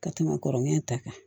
Ka tɛmɛ kɔrɔlen ta kan